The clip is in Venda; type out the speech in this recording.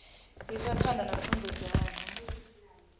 isa phanḓa na pfunzo dzavho